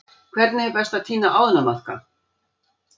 Hvernig er best að tína ánamaðka?